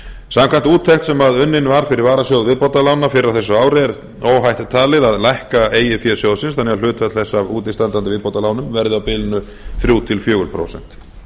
samkvæmt úttekt sem unnin var fyrir varasjóð viðbótarlána fyrr á þessu ári er óhætt talið að lækka eigið fé sjóðsins þannig að hlutfall þess af útistandandi viðbótarlánum verði á bilinu þrjú til fjögur prósent